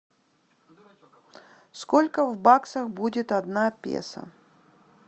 сколько в баксах будет одна песо